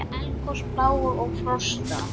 Eldgos, plágur og frosta